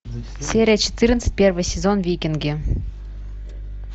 серия четырнадцать первый сезон викинги